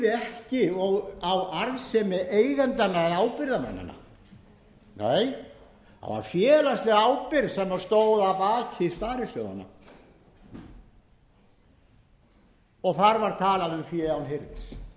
ekki á arðsemi eigendanna eða ábyrgðarmannanna nei það var félagsleg ábyrgð sem stóð að baki sparisjóðanna og þar var talað um fé án hirðis